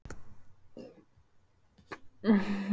Og lofthjúpurinn á milli eins og ómæld óvissa.